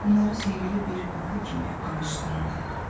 Bunları sehirli bir yuxu kimi anışdırıram.